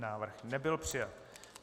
Návrh nebyl přijat.